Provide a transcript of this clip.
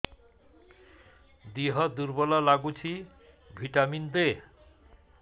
ଦିହ ଦୁର୍ବଳ ଲାଗୁଛି ଭିଟାମିନ ଦେ